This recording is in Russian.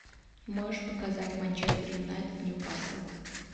можешь показать манчестер юнайтед ньюкасл